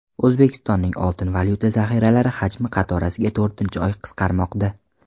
O‘zbekistonning oltin-valyuta zaxiralari hajmi qatorasiga to‘rtinchi oy qisqarmoqda.